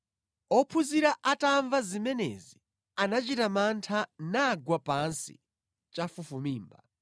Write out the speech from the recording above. Ophunzira atamva zimenezi, anachita mantha nagwa pansi chafufumimba.